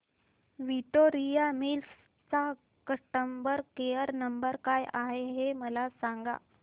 Victoria Mills चा customer care number काय आहे हे मला सांगा